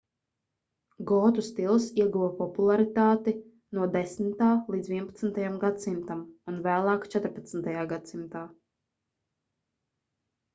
gotu stils ieguva popularitāti 10.–11. gs. un vēlāk 14. gs